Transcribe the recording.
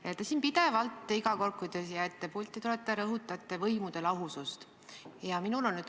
Te rõhutate siin pidevalt, iga kord, kui te siia pulti tulete, võimude lahusust.